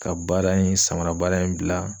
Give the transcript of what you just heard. Ka baara in samara baara in bila